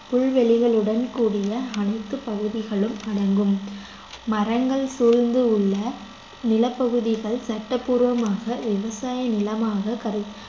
புல்வெளிகளுடன் கூடிய அனைத்து பகுதிகளும் அடங்கும் மரங்கள் சூழ்ந்து உள்ள நிலப்பகுதிகள் சட்டப்பூர்வமாக விவசாய நிலமாக கரு~